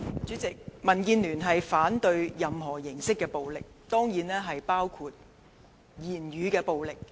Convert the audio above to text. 主席，民主建港協進聯盟反對任何形式的暴力，當然包括語言暴力。